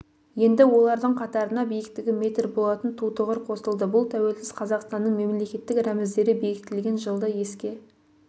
енді олардың қатарына биіктігі метр болатын тутұғыр қосылды бұл тәуелсіз қазақстанның мемлекеттік рәміздері бекітіліген жылды еске